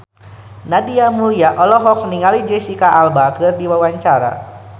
Nadia Mulya olohok ningali Jesicca Alba keur diwawancara